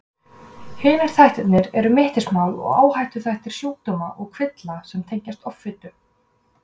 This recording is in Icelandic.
Hinir þættirnir eru mittismál og áhættuþættir sjúkdóma og kvilla sem tengjast offitu.